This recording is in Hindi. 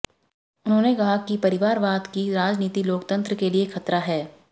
उन्होंने कहा कि परिवारवाद की राजनीति लोकतंत्र के लिए खतरा है